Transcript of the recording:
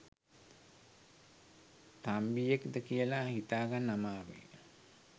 තම්බියෙක්ද කියලා හිතාගන්න අමාරුයි